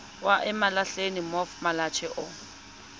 wa emalahleni mof malatjie o